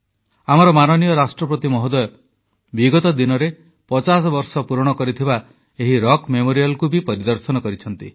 ଆମର ମାନନୀୟ ରାଷ୍ଟ୍ରପତି ମହୋଦୟ ମଧ୍ୟ ବିଗତ ଦିନରେ ପଚାଶ ବର୍ଷ ପୂରଣ କରିଥିବା ଏହି ରକ୍ ମେମୋରିଆଲ୍କୁ ପରିଦର୍ଶନ କରିଛନ୍ତି